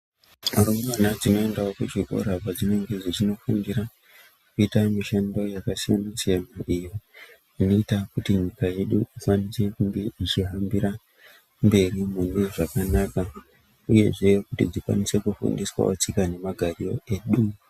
Rumbwana dzinoendawo kuzvikora padzinenge dzeindofundira kuita mishando yakasiyana siyana iyo inoita nyika yedu ikwanise kunge ichihambira mberi kune zvakanaka uyezve kuti tikwanise kufundiswa tsika nemagariro edu.